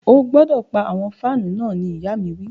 O gbọdọ pa awọn fanu náà ni ìya mi wi.